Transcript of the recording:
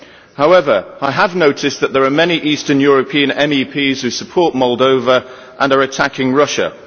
However, I have noticed that there are many Eastern European MEPs who support Moldova and are attacking Russia.